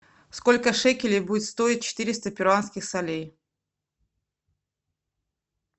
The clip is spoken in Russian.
сколько шекелей будет стоить четыреста перуанских солей